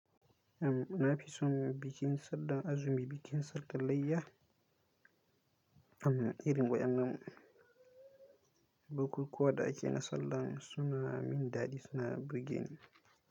Am, na fi son bikin Sallar Azumi, bikin Sallar Layya. Am, irin waɗannan bukukuwa da ake na Sallah suna min dadi, suna burge ni.